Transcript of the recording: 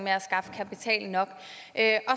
med at skaffe kapital nok